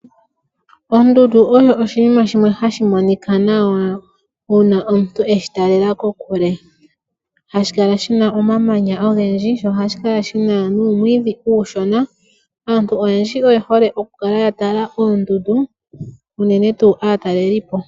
Ondundu oyo oshinima shimwe hashi monika nawa uuna omuntu eshi taalela kokule . Ohashi kala shina omamanya ogendji, sho ohashi kala shina nuumwiidhi uushona . Aantu oyendji oyehole okukala yatala oondundu unene tuu aatalelipo.